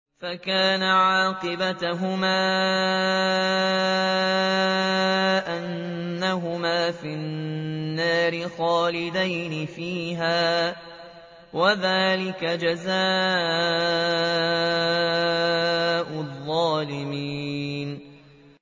فَكَانَ عَاقِبَتَهُمَا أَنَّهُمَا فِي النَّارِ خَالِدَيْنِ فِيهَا ۚ وَذَٰلِكَ جَزَاءُ الظَّالِمِينَ